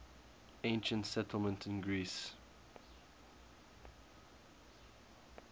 ancient settlements in greece